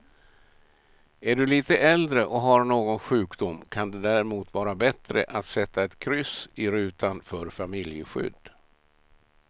Är du lite äldre och har någon sjukdom kan det därmot vara bättre att sätta ett kryss i rutan för familjeskydd.